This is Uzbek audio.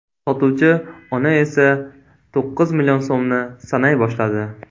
Sotuvchi ona esa to‘qqiz million so‘mni sanay boshladi.